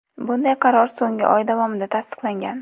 Bunday qaror so‘nggi oy davomida tasdiqlangan.